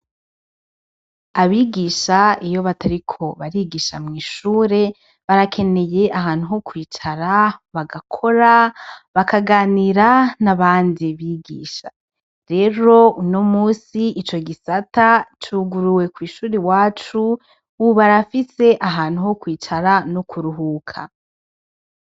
Abigisha iyo batariko barigisha mw'ishure barakeneye ahantu ho kwicara , bagakora , bakaganira nabandi bigisha. Rero uno musi ico gisata, cuguruwe kw'ishuri iwacu, ubu barafise ahantu ho kwicara no kuruhuka .